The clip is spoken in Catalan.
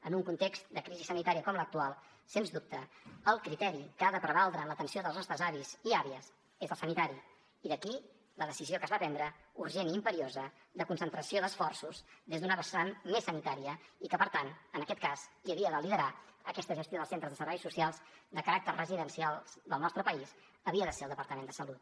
en un context de crisi sanitària com l’actual sens dubte el criteri que ha de prevaldre en l’atenció dels nostres avis i àvies és el sanitari i d’aquí la decisió que es va prendre urgent i imperiosa de concentració d’esforços des d’una vessant més sanitària i que per tant en aquest cas qui havia de liderar aquesta gestió dels centres de serveis socials de caràcter residencial del nostre país havia de ser el departament de salut